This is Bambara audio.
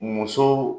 Muso